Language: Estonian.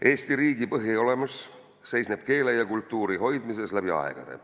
Eesti riigi põhiolemus seisneb keele ja kultuuri hoidmises läbi aegade.